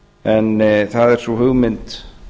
en það er sú hugmynd